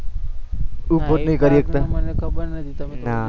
મને ખબર નથી, ના